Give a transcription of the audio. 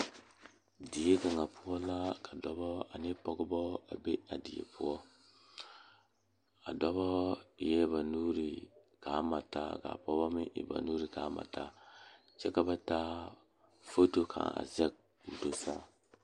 Die kaŋa poɔ la ka dɔɔba ne pɔgeba la toɔ a pegle orobaare ka teere yigaa are a ba nimitɔɔre ka bamine su kpare ziiri ka bamine meŋ su kpare sɔglɔ ka bamine meŋ a do kyɛ te a orobaare taa.